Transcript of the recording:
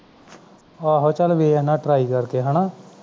ਆਹੋ ਚਲ ਵੇਖਦਾ ਹਾਂ try ਕਰਕੇ ਹੈ ਨਾ